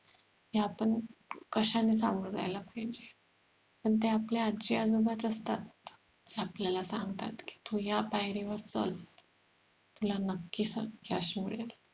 कि आपण कशाने सामोर जायला पाहिजे पण ते आपले आजी आजोबाच असतात जे आपल्याला सांगतात कि तू ह्या पायरी वर चल तुला नक्कीच यश मिळेल